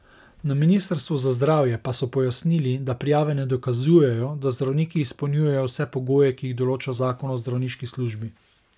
Na ministrstvu za zdravje pa so pojasnili, da prijave ne dokazujejo, da zdravniki izpolnjujejo vse pogoje, ki jih določa zakon o zdravniški službi.